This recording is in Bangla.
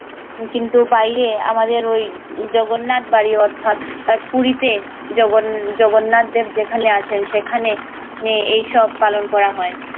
কিন্তু বাইরে আমাদের ওই জগন্নাথ বাড়ি অর্থাৎ পুরি তে জগন্নাথ জগন্নাথ দেব যেখানে আছেন সেখানে এ সব পালন করা হয়